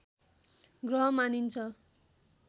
ग्रह मानिन्छ